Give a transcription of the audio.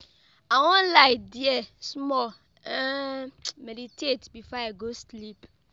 I wan lie die small um meditate before I go sleep.